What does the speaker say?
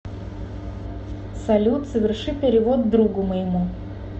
салют соверши перевод другу моему